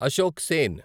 Ashok Sen